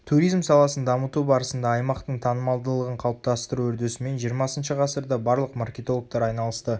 туризм саласын дамыту барысында аймақтың танымалдығын қалыптастыру үрдісімен жиырмасыншы ғасырда барлық маркетологтар айналысты